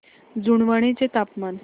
जुनवणे चे तापमान